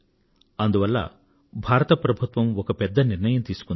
అందువల్ల భారత ప్రభుత్వం ఒక పెద్ద నిర్ణయం తీసుకుంది